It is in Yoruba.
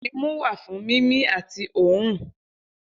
Imu wa fun mimi ati õrùn.